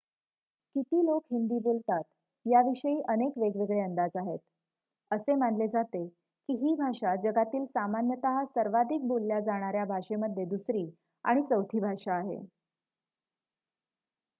किती लोक हिंदी बोलतात याविषयी अनेक वेगवेगळे अंदाज आहेत असे मानले जाते की ही भाषा जगातील सामान्यतः सर्वाधिक बोलल्या जाणाऱ्या भाषेमध्ये दुसरी आणि चौथी भाषा आहे